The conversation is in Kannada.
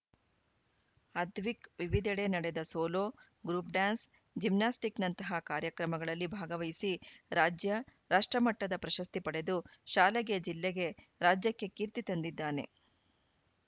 ಅದ್ವಿಕ್‌ ವಿವಿಧೆಡೆ ನಡೆದ ಸೋಲೋ ಗ್ರೂಪ್‌ ಡ್ಯಾನ್ಸ್‌ ಜಿಮ್ನಾಸ್ಟಿಕ್‌ನಂತಹ ಕಾರ್ಯಕ್ರಮಗಳಲ್ಲಿ ಭಾಗವಹಿಸಿ ರಾಜ್ಯ ರಾಷ್ಟ್ರಮಟ್ಟದ ಪ್ರಶಸ್ತಿ ಪಡೆದು ಶಾಲೆಗೆ ಜಿಲ್ಲೆಗೆ ರಾಜ್ಯಕ್ಕೆ ಕೀರ್ತಿ ತಂದಿದ್ದಾನೆ